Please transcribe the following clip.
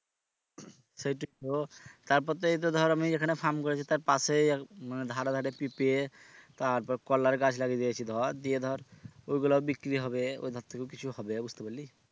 সেটোই তো তারপর তো এইতো ধর আমি এখানে firm করেছি তার পাশে মানে ধারে ধারে পিপে তারপর কলার গাছ লাগিয়ে দিয়েছি ধর দিয়ে ধর ওইগুলা ও বিক্রি হবে ওই ধার থেকেও কিছু হবে বুঝতে পারলি?